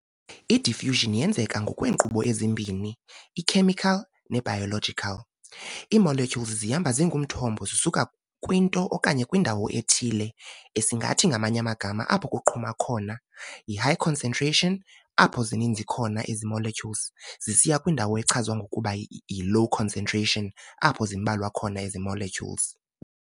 I-diffusion eyenzeka ngokweenkqubo ezimbini, e-chemical ne-biological, ii- molecules zihamba zingumthombo zisuka kwinto okanye kwindawo ethile, esingathi, ngamanye amagama apho kuqhuma khona, yi-high concentration, apho zininzi khona ezi- molecules, zisiya kwindawo echazwa ngokuba i-low concentration, apho ke zimbalwa khona ezi molecules.